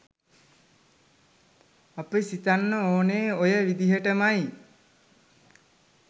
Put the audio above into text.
අපි සිතන්න ඕන ඔය විදිහටමයි.